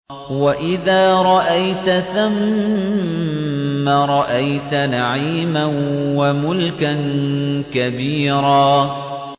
وَإِذَا رَأَيْتَ ثَمَّ رَأَيْتَ نَعِيمًا وَمُلْكًا كَبِيرًا